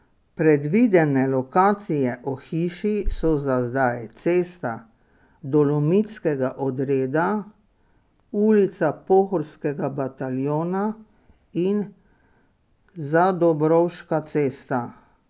Predvidene lokacije ohišij so za zdaj Cesta Dolomitskega odreda, Ulica Pohorskega bataljona in Zadobrovška cesta.